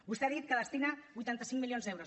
vostè ha dit que hi destina vuitanta cinc milions d’euros